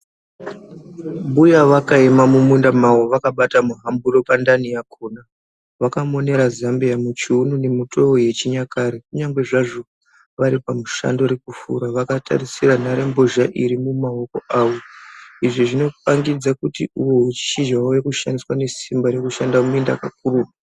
Mbuya vakaema mumunda mavo vakabata muhamburo pandani yakona. Vakamonera zvambiya muchuunu nemutoo yechinyakare. Kunyangwe zvazvo vari pamushando rekufura vakatarisira nhare mbozha iri mumaoko. Izvi zvinopangidza kuti ushizha rave kushandiswa nesimba rekushanda muminda kakurutu.